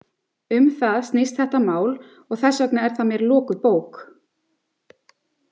Um það snýst þetta mál og þess vegna er það mér lokuð bók.